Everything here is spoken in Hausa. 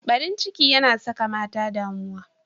Barin ciki yana saka mata damuwa.